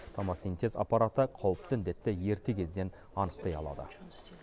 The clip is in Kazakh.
томосинтез аппараты қауіпті індетті ерте кезден анықтай алады